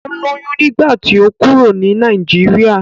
Ó lóyún nígbà tí ó kúrò ní Nàìjíríà.